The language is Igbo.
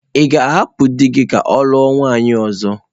Ị ga-ahapụ di gị ka ọ lụọ nwunye ọzọ?